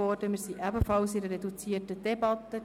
Wir führen hier ebenfalls eine reduzierte Debatte.